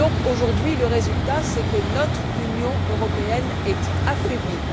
Aujourd'hui, le résultat, c'est que notre Union européenne est affaiblie.